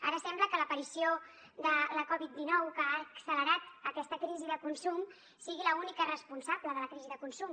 ara sembla que l’aparició de la covid dinou que ha accelerat aquesta crisi de consum sigui l’única responsable de la crisi de consum